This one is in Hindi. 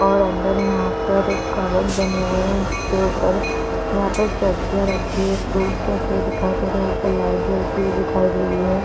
और अंदर यहाँ पर एक कबोर्ड बने हुए है और उसके ऊपर यहाँ पर सब्जियां रखे हुए फ़ूड रखे हुए दिखाई दे रहे है ऊपर लाइट जलती हुई दिखाई दे रही है।